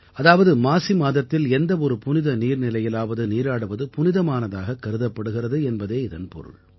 அதாவது மாசி மாதத்தில் எந்த ஒரு புனித நீர்நிலையிலாவது நீராடுவது புனிதமானதாகக் கருதப்படுகிறது என்பதே இதன் பொருள்